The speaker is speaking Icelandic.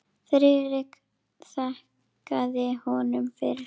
Friðrik þakkaði honum fyrir.